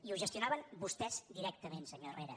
i ho gestionaven vostès directament senyor herrera